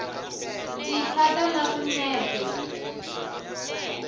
ti khata na swinepe